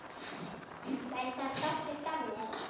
Væri það fallegt af mér?